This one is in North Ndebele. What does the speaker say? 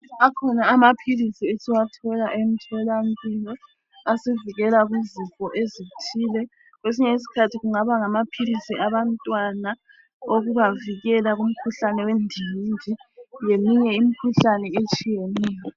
Akhona amaphilisi esiwathola emtholampilo asivikela kuzifob ezithile. Kwesinye isikhathi kungaba ngamaphilisi abantwana okubavikela kumkhuhlane wendingindi leminye imkhuhlane etshiyeneyo.